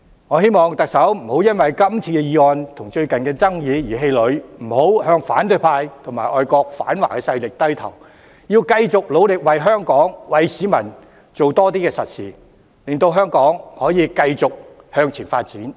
我希望特首不要因今次的議案和最近的爭議而氣餒，不要向反對派和外國反華勢力低頭，要繼續努力為香港和市民多做實事，令香港繼續向前發展。